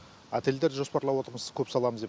отельдер жоспарлап отырмыз көп саламыз деп